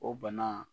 O bana